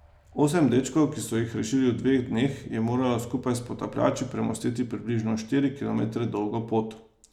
Osem dečkov, ki so jih rešili v teh dveh dneh, je moralo skupaj s potapljači premostiti približno štiri kilometre dolgo pot.